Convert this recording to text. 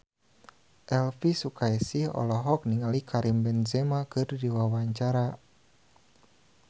Elvi Sukaesih olohok ningali Karim Benzema keur diwawancara